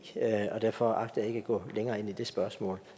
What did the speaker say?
og derfor agter jeg ikke at gå længere ind i det spørgsmål